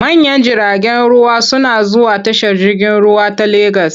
Manyan jiragen ruwa suna zuwa tashar jirgin ruwa ta Legas.